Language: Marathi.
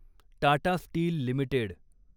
Tata steel limited